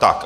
Tak.